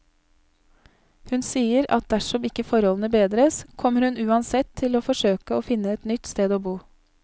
Hun sier at dersom ikke forholdene bedres, kommer hun uansett til å forsøke å finne et nytt sted å bo.